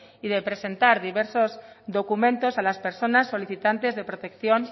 y de presentar diversos documentos a las personas solicitantes de protección